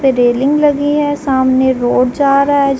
पे रेलिंग लगी है। सामने रोड जा रहा है जहाँ-- .